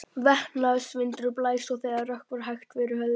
Vestanvindurinn blæs og það rökkvar hægt yfir höfði þeirra.